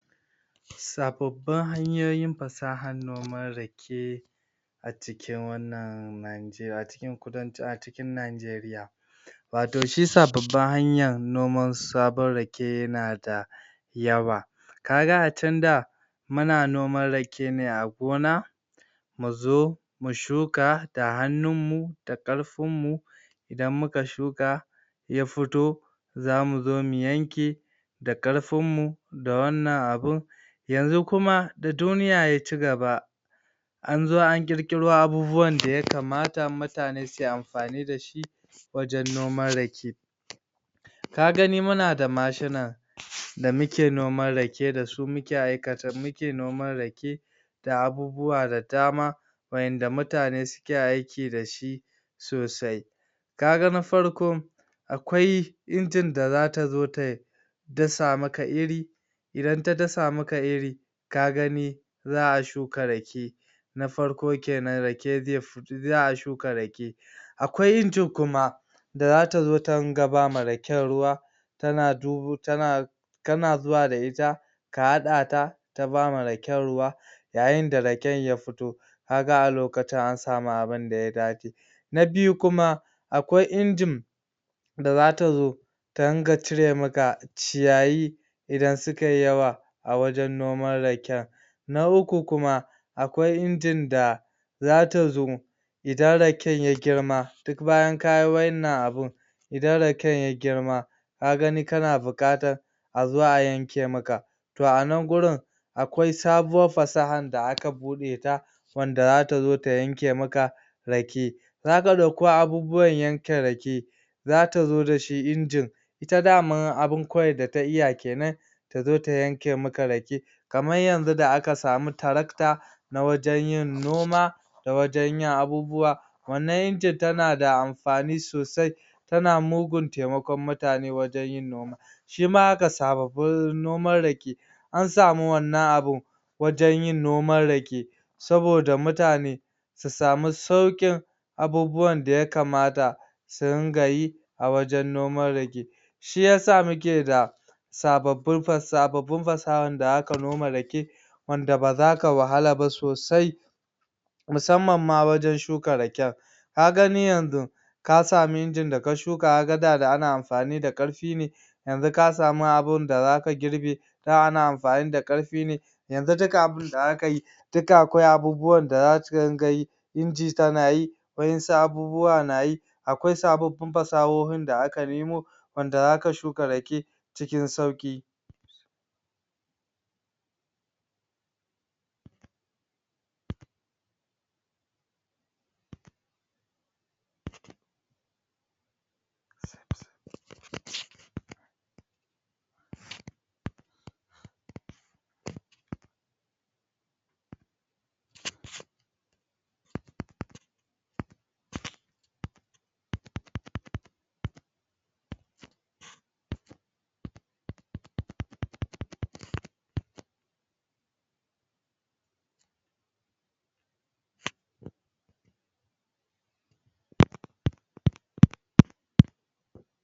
sabobbin hanyoyin fasahar noman rake a cikin wannan najeri a cikin kudancin a cikin najeriya wato shi sabobbin hanyan noman sabon rake yana da yawa ka ga a tun da muna noman rake ne a gona mu zo mu shuka da hannunmu da ƙarfinmu idan muka shuka ya fito za mu zo mu yanke da ƙarfinmu da wannan abun yanxun kuma da duniya ya cigaba an zo an ƙirƙiro abubuwan da yakamata mutane su yi amfani da shi wajen noman rake ka gani muna da mashina damuke noman rake da su muke aikata muke noman rake da abubuwa da dama wa'inda mutane suke aiki dashi sosai ka ga na farko akwai injin da zata zo tayi dasa maka iri idan ta dasa maka iri ka gani za a shuka rake na farko kenan rake zai za a shuka rake akwai injin kuma da zata zo ta ringa ba ma raken ruwa tana dubo tana kana zuwa da ita ka haɗata ta ba ma raken ruwa yayi da raken ya fito kaga a lokacin an samu abinda ya dace na biyu kuma akwai injin da za ta zo ta ringa cire maka ciyayi idan sukayi yawa a wajen noman raken na uku kuma akwai injin da za ta zo idan raken ya girma duk bayan ka yi wa'innan abun idan raken ya girma ka gani kan buƙatan azao a yanke maka toh a nan gurin akwai sabuwan fasahan da aka buɗeta wanda za ta zo ta yanke maka rake zaka ɗauko abubuwan yanke rake zata zo dashi injin ita daman abinkawai da ta iya kenan ta zo ta yanke maka rake kaman yanzu da aka samu tarakta a wajen yin noma da wajen yn abubuwa wannan injin tana da amfani sosai ta mugun taimakon mutane wajen yin noma shima haka sabobin noman rake an samu wannan abun wajen yin noman rake aboda mutane su samu sauƙin abubuwan da yakamata su ringa yi a wajen noman rake shiyasa muke da sabobin fa sabobbin fasahan da zaka noma rake wanda ba zaka wahala ba sosai musamman ma wajen shuka raken ka gani yanxu ka samu injin da ka shuka kaga da ana amfani da ƙarfi ne yanzu ka samu abinda zaka girbe da ana amfani da ƙarfi ne yanzu duk abinda za ka yi duk akwai abubuan da za su dinga yi inji tana yi waƴansu abubuwa na yi akwa sabobbin fasahohin da aka nimo wanda za ka shuka rake cikin sauƙi